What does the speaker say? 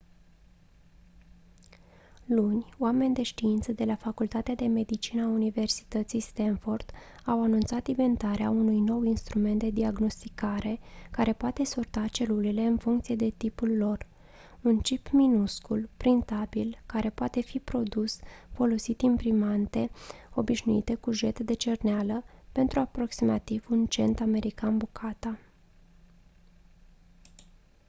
luni oameni de știință de la facultatea de medicină a universității stanford au anunțat inventarea unui nou instrument de diagnosticare care poate sorta celulele în funcție de tipul lor un cip minuscul printabil care poate fi produs folosind imprimante obișnuite cu jet de cerneală pentru aproximativ un cent american bucata